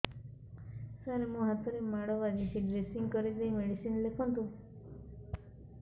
ସାର ମୋ ହାତରେ ମାଡ଼ ବାଜିଛି ଡ୍ରେସିଂ କରିଦେଇ ମେଡିସିନ ଲେଖନ୍ତୁ